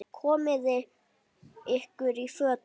Komiði ykkur í fötin.